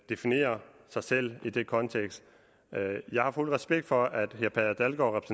definerer sig selv i den kontekst jeg har fuld respekt for at herre per dalgaard